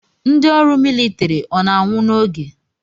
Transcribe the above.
Ndị ọrụ militiri ọ na-anwụ n'oge?